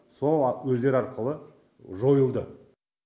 сол өздері арқылы жойылды